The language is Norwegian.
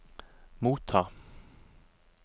motta